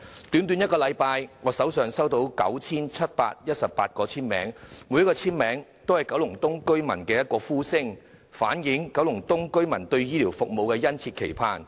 短短1星期，我已收到 9,718 個簽名，每一個簽名也代表九龍東居民的一把聲音，反映他們對醫療服務的殷切期盼。